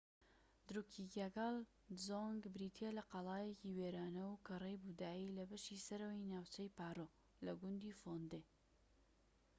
دروکیگایال دزۆنگ بریتیە لە قەڵایەکی وێرانە و کەڕەی بوودایی لە بەشی سەرەوەی ناوچەی پارۆ لە گوندی فۆندێ